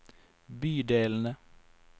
bydelene